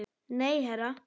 Nei, herra